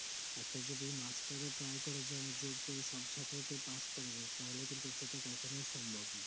একটা যদি মাস্টারও try করে যে জোর করে সব ছাত্রকে pass করবো তাহলে কিন্তু সেটা কখনোই সম্ভব নোই